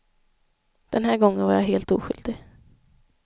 Den här gången var jag helt oskyldig.